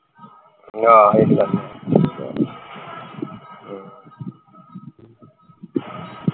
ਆਹ ਓਹੀ ਤਾਂ ਹੈ